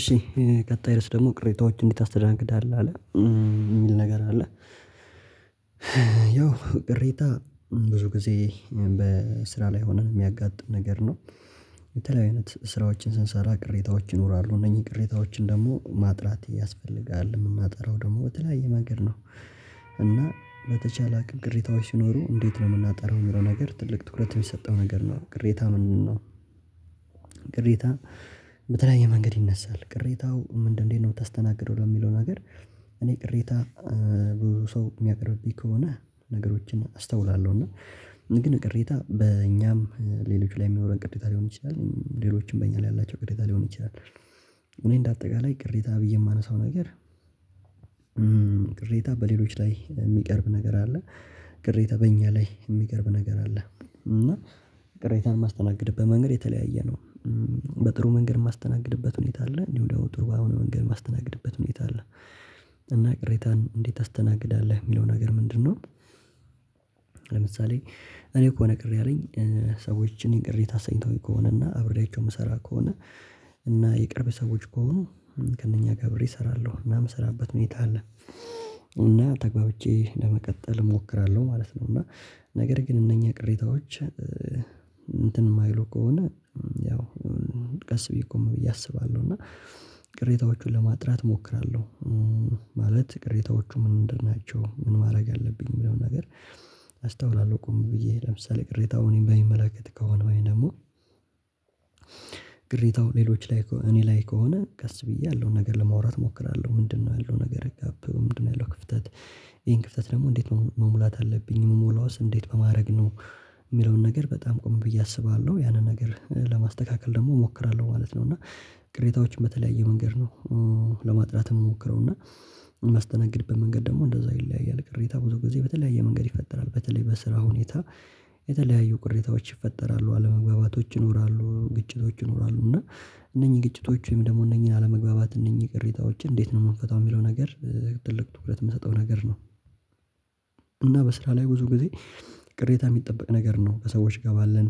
እሺ ቀጣይ ድረስ ደግሞ፤ "ቅሬታዎችን እንዴት ታስተናግዳለህ?" አለ፤ የሚል ነገር አለ። ያው ቅሬታ ብዙ ጊዜ በስራ ላይ ሆነን የሚያጋጥም ነገር ነው። የተለያዩ አይነት ስራዎችን ስንሰራ ቅሬታዎች ይኖራሉ፤ እነኚህን ቅሬታዎችን ደግሞ ማጥራት ያስፈልጋል። የምናጠራው ደግሞ በተለያየ መንገድ ነው፤ እና በተቻለ አቅም ቅሬታዎች ሲኖሩ እንዴት ነው የምናጠራው የሚለው ነገር ትልቅ ትኩረት የሚሰጠው ነገር ነው ቅሬታ ምንን ነው ቅሬታ በተለያየ መንገድ ይነሳል። ቅሬታው ምንድ እንዴት ነው ምታስተናግደው ለሚለው ነገር እኔ ቅሬታ ብዙ ሰው የሚያቀርብብኝ ከሆነ ነገሮችን አስተውላለሁ፤ እና ግን ቅሬታ በእኛም ሌሎች ላይ የሚኖረን ቅሬታ ሊሆን ይችላል ሌሎችም በእኛ ላይ ያላቸው ቅሬታ ሊሆን ይችላል። እኔ እንደ አጠቃላይ ቅሬታ ብዬ የማነሳው ነገር ቅሬታ በሌሎች ላይ የሚቀርብ ነገር አለ፣ ቅሬታ በእኛ ላይ የሚቀርብ ነገር አለ፤ እና ቅሬታን የማስተናግድበት መንገድ የተለያየ ነው። በጥሩ መንገድ የማስተናግድበት ሁኔታ አለ እንዲሁ ደግሞ ጥሩ ባልሆነ መንገድ የማስተናግድበት ሁኔታ አለ፤ እና ቅሬታን እንዴት ታስተናግዳለህ የሚለው ነገር ምንድነው? ለምሳሌ እኔ ከሆነ ቅር ያለኝ ሰዎችን እኔን ቅሬታ አሰኝተውኝ ከሆነ እና አብሬያቸው የምሰራ ከሆነ እና የቅርብ ሰዎች ከሆኑ ከእነኛ ጋር አብሬ እሰራለሁ እና ምሰራበት ሁኔታ አለ። እና ተገባብቼ ለመቀጠል እሞክራለሁ ማለት ነው፤ እና ነገር ግን እነኚህ ቅሬታዎች እንትን የማይሉ ከሆነ ያው ቀስ ብዬ ቆም ብዬ አስባለሁ፤ እና ቅሬታዎቹን ለማጥራት እሞክራለሁ ማለት ቅሬታዎቹ ምን ምንድንናቸው ምን ማድረግ አለብኝ የሚለውን ነገር አስተውላለሁ ቆም ብዬ። ለምሳሌ ቅሬታውን እኔን በሚመላከት ከሆነ ወይ ደግሞ ቅሬታው ሌሎች ላይ ከሆ እኔ ላይ ከሆነ ቀስ ብዬ ያለውን ነገር ለማውራት እሞክራለሁ። "ምንድነው ያለው ነገር ጋፕ በምንድነው ያለው ክፍተት?" "ይሄን ክፍተት ደግሞ እንዴት መሙ መሙላት አለብኝ?" "ምሞላውስ እንዴት በማድረግ ነው?" የሚለውን ነገር በጣም ቆም ብዬ አስባለሁ። ያንን ነገር ለማስተካከል ደግሞ እሞክራለሁ ማለት ነው። እና ቅሬታዎችን በተለያየ መንገድ ነው ለማጥራት የምሞክረው እና የማስተናግድበት መንገድ ደግሞ እንደዛው ይለያያል። ቅሬታ ብዙ ጊዜ በተለያየ መንገድ ይፈጠራል። በተለይ በስራ ሁኔታ የተለያዩ ቅሬታዎች ይፈጠራሉ አለመግባባቶች ይኖራሉ ግጭቶች ይኖራሉ እና እነኚህ ግጭቶች ወይም ደግሞ እነኚህን አለመግባባት እነኚህ ቅሬታዎች እንዴት ነው የምንፈታው የሚለው ነገር ትኩረት የምሰጠው ነገር ነው። እና በስራ ላይ ብዙ ጊዜ ቅሬታ የሚጠበቅ ነገር ነው። ከሰዎች ጋር ባለን